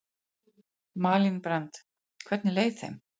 Malín Brand: Hvernig leið þeim?